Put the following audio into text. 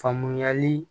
Faamuyali